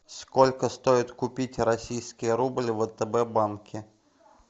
сколько стоит купить российский рубль в втб банке